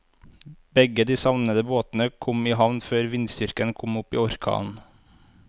Begge de savnede båtene kom i havn før vindstyrken kom opp i orkan.